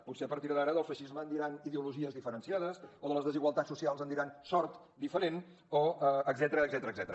potser a partir d’ara del feixisme en diran ideologies diferenciades o de les desigualtats socials en diran sort diferent o etcètera